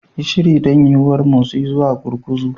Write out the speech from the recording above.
Yi shiri don yuwuwar motsi zuwa gurguzu.